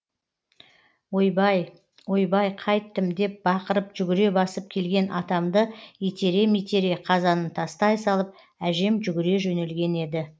ойбай ойбай қайттім деп бақырып жүгіре басып келген атамды итере митере қазанын тастай салып әжем жүгіре жөнелген еді